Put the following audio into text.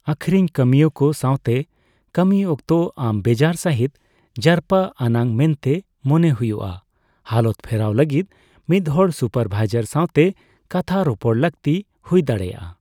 ᱟᱹᱠᱷᱨᱤᱧ ᱠᱟᱹᱢᱤᱭᱟᱹᱠᱚ ᱥᱟᱣᱛᱮ ᱠᱟᱹᱢᱤᱭ ᱚᱠᱛᱚ ᱟᱢ ᱵᱮᱡᱟᱨ ᱥᱟᱹᱦᱤᱡᱽ ᱡᱟᱨᱯᱟ ᱟᱱᱟᱜ ᱢᱮᱱᱛᱮ ᱢᱚᱱᱮ ᱦᱩᱭᱩᱜᱼᱟ, ᱦᱟᱞᱚᱛ ᱯᱷᱮᱨᱟᱣ ᱞᱟᱹᱜᱤᱫ ᱢᱤᱫᱦᱚᱲ ᱥᱩᱯᱟᱨ ᱵᱷᱟᱭᱡᱟᱨ ᱥᱟᱣᱛᱮ ᱠᱟᱛᱷᱟ ᱨᱚᱯᱚᱲ ᱞᱟᱹᱠᱛᱤ ᱦᱩᱭ ᱫᱟᱲᱮᱭᱟᱜᱼᱟ ᱾